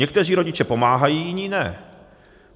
Někteří rodiče pomáhají, jiní ne.